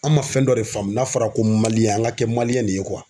An ma fɛn dɔ de faamu n'a fɔra ko an ka kɛ de ye